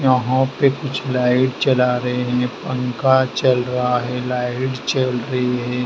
यहां पे कुछ लाइट चला रहे हैं पंखा चल रहा है लाइट चल रही है।